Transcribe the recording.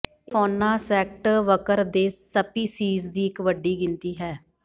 ਇਹ ਫੌਨਾ ਸੈਕਟ੍ੈਵਕਰ ਦੇ ਸਪੀਸੀਜ਼ ਦੀ ਇੱਕ ਵੱਡੀ ਗਿਣਤੀ ਹੈ